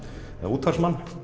útvarpsmann